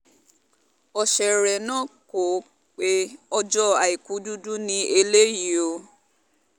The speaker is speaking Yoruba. ọ̀sẹ̀rẹ̀ náà kó o pe ọjọ́ àìkú dúdú ní eléyìí o